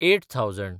eight thousand